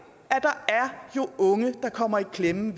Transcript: jo unge der kommer i klemme